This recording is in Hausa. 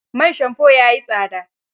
Man shamfo ya yi tsada.